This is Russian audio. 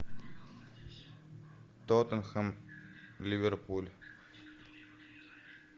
тоттенхэм ливерпуль